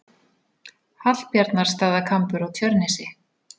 Hallbjarnarstaðakambur á Tjörnesi.